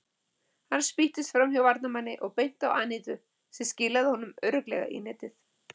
Hann spýttist framhjá varnarmanni og beint á Anítu sem skilaði honum örugglega í netið.